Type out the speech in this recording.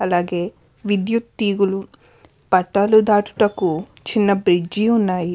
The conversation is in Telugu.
అలాగే విద్యుత్ తీగలు పట్టాలు దాటుటకు చిన్న బ్రీజ్ ఉన్నాయి.